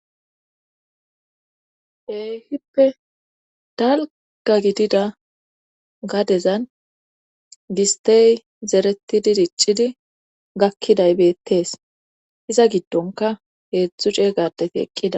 heyhippe dalga gidida gadezan gistey zeretidi diccidi gakkiday beettees iza giddonka heedzdzu ceey gadeti eqqida